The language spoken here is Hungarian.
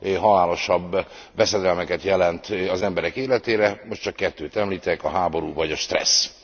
halálosabb veszedelmeket jelent az emberek életére, most csak kettőt említek a háború vagy a stressz.